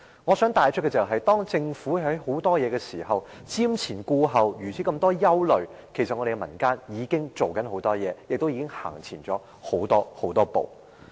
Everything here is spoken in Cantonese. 我想帶出的是，當政府還在瞻前顧後，多多顧慮時，民間已做了很多事，亦已走前了很多步。